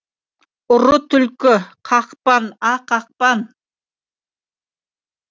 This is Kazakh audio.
ұры түлкі қақпан а қақпан